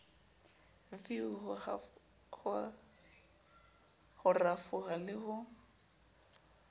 v ho rafoha le ho